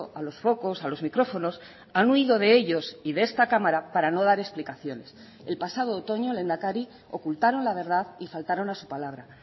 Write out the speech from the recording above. a los focos a los micrófonos han huido de ellos y de esta cámara para no dar explicaciones el pasado otoño lehendakari ocultaron la verdad y faltaron a su palabra